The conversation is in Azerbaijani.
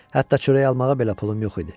Hətta çörək almağa belə pulum yox idi.